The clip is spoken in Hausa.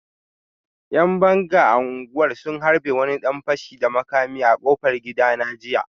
‘Yan banga a unguwar sun harbe wani dan fashi da makami a kofar gidana jiya